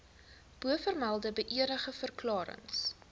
bovermelde beëdigde verklarings